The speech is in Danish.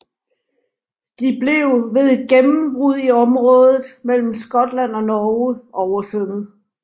De blev ved et gennembrud i området mellem Skotland og Norge oversvømmet